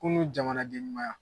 Kunun jamanaden deɲumanya!